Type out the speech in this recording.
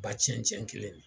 Ba cɛncɛn kelen nin